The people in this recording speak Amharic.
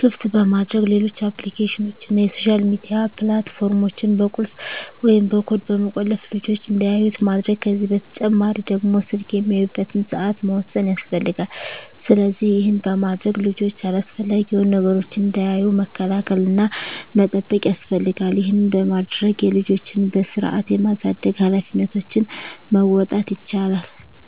ክፍት በማድረግ ሌሎች አፕሊኬሽኖችን እና የሶሻል ሚዲያ ፕላት ፎርሞችን በቁልፍ ወይም በኮድ በመቆለፍ ልጅች እንዳያዩት ማድረግ ከዚህ በተጨማሪ ደግሞ ስልክ የሚያዩበትን ሰአት መወሰን ያስፈልጋል። ስለዚህ ይህን በማድረግ ልጆች አላስፈላጊ የሆኑ ነገሮችን እንዳያዩ መከላከል እና መጠበቅ ያስፈልጋል ይህን በማድረግ የልጆችን በስርአት የማሳደግ ሀላፊነቶችን መወጣት ይቻላል።